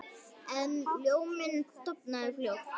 En ljóminn dofnaði fljótt.